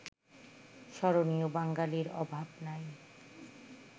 স্মরণীয় বাঙ্গালির অভাব নাই